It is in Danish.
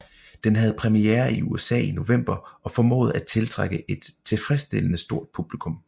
Den havde premiere i USA i november og formåede at tiltrække et tilfredsstillende stort publikum